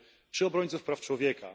czy obrońców praw człowieka.